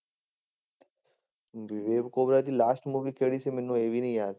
ਬਿਬੇਕ ਓਵਰੋਏ ਦੀ last movie ਕਿਹੜੀ ਸੀ, ਮੈਨੂੰ ਇਹ ਵੀ ਨੀ ਯਾਦ।